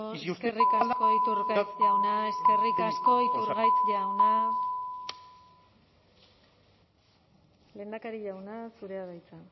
si usted eskerrik asko eskerrik asko iturgaiz jauna eskerrik asko iturgaiz jauna lehendakari jauna zurea da hitza